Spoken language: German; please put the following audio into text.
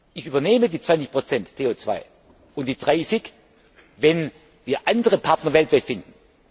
Ich übernehme die 20 CO 2 und die 30 wenn wir andere Partner weltweit finden.